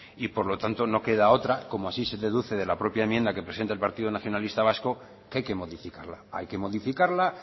y por lo tanto no queda otra como así se deduce de la propia enmienda que presenta el partido nacionalista vasco que hay que modificarla hay que modificarla